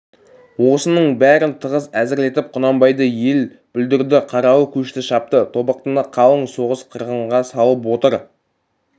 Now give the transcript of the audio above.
осының бәрін тығыз әзірлетіп құнанбайды ел бүлдірді қаралы көшті шапты тобықтыны қалың соғыс қырғынға салып отыр